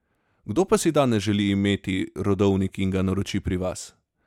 Kdo pa si danes želi imeti rodovnik in ga naroči pri vas?